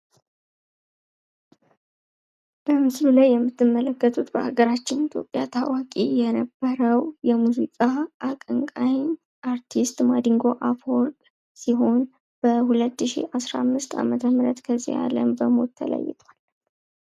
ምስሉ ላይ የምንመለከተው በሀገራችን ኢትዮጵያ የነበረው የሙዚቃ አቀንቃኝ አርቲስት ማዲንጎ አፈወርቅ ሲሆን በ2015 ከዚህ አለም በሞት ተለየ ።